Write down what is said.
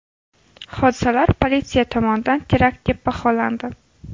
Hodisalar politsiya tomonidan terakt deb baholandi .